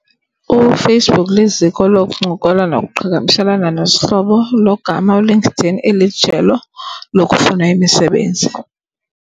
UFacebook liziko lokuncokola nokuqhagamshelana nezihlobo logama uLinkedIn elijelo lokufuna imisebenzi.